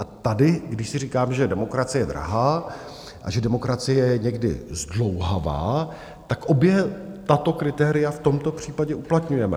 A tady, když si říkám, že demokracie je drahá a že demokracie je někdy zdlouhavá, tak obě tato kritéria v tomto případě uplatňujeme.